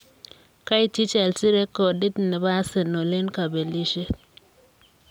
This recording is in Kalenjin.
Kaityi Chelsea rekodit ne bo Arsenal eng kabelisiet.